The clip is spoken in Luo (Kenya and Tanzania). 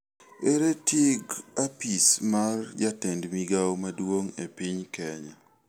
Ere tig' apisi mar jatend migwao maduong e piny Kenya?